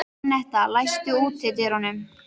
Annetta, læstu útidyrunum.